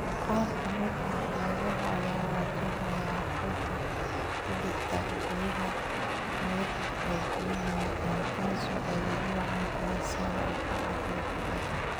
Qaar ka mid ah xeebaha ayaa wajahaya ku xad-gudubka biyaha milixdu ee biyaha macaan taasoo ay ugu wacan tahay sare u kaca heerka badda.